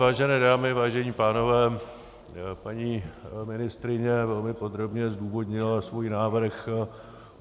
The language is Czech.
Vážené dámy, vážení pánové, paní ministryně velmi podrobně zdůvodnila svůj návrh.